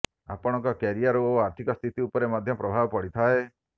ଆପଣଙ୍କ କ୍ୟାରିୟର୍ ଓ ଆର୍ଥିକ ସ୍ଥିତି ଉପରେ ମଧ୍ୟ ପ୍ରଭାବ ପଡ଼ିଥାଏ